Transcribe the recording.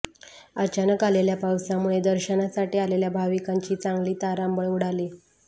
अचानक आलेल्या पावसामुळे दर्शनासाठी आलेल्या भाविकांची चांगली तारांबळ उडाली